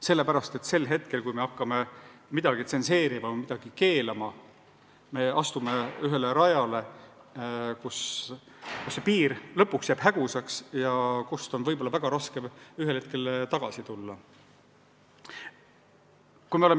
Sellepärast et sel hetkel, kui me hakkame midagi tsenseerima, midagi keelama, me astume rajale, kus see piir lõpuks jääb häguseks ja kust on võib-olla väga raske ühel hetkel tagasi tulla.